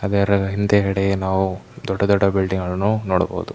ಅದರ ಹಿಂದೆ ಗಡೆ ನಾವು ದೊಡ್ಡ ದೊಡ್ಡ ಬಿಲ್ಡಿಂಗ್ ಗಳನ್ನೂ ನೋಡಬಹುದು.